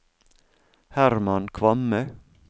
Herman Kvamme